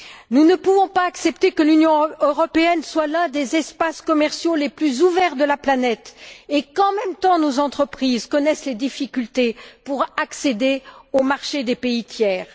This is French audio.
Nous ne pouvons pas accepter que l'Union européenne soit l'un des espaces commerciaux les plus ouverts de la planète et qu'en même temps nos entreprises connaissent des difficultés pour accéder aux marchés des pays tiers.